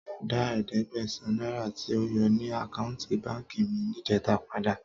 Dá ẹ̀ẹ́dẹ́gbẹ̀sán náírà tí o yọ ní àkáùntì báǹkì mi níjẹta padà.